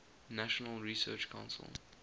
national research council